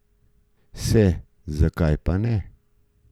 Se, zakaj pa ne?